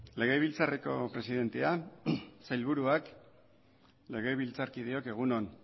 legebiltzarreko presidentea sailburuak legebiltzarkideok egun on